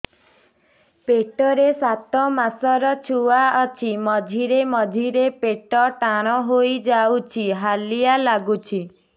ପେଟ ରେ ସାତମାସର ଛୁଆ ଅଛି ମଝିରେ ମଝିରେ ପେଟ ଟାଣ ହେଇଯାଉଚି ହାଲିଆ ଲାଗୁଚି